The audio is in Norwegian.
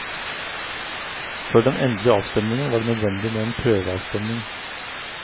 Før den endelige avstemningen var det nødvendig med en prøveavstemning.